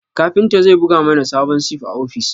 Kafinta zai buga mana sabon sif a ofis